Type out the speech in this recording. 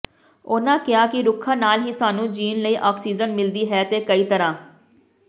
ਉਨ੍ਹਾਂ ਕਿਹਾ ਕਿ ਰੁੱਖਾਂ ਨਾਲ ਹੀ ਸਾਨੂੰ ਜਿਊਣ ਲਈ ਆਕਸੀਜਨ ਮਿਲਦੀ ਹੈ ਤੇ ਕਈ ਤਰ੍ਹਾਂ